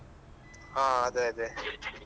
ಹಾ ಅದೆ ಅದೆ.